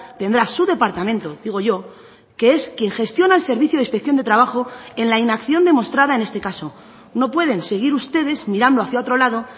tendrá su departamento digo yo que es quien gestiona el servicio de inspección de trabajo en la inacción demostrada en este caso no pueden seguir ustedes mirando hacia otro lado